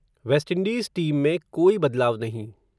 waste Indies team में, कोई बदलाव नहीं